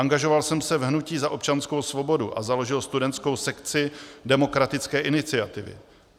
Angažoval jsem se v hnutí Za občanskou svobodu a založil studentskou sekci Demokratické iniciativy.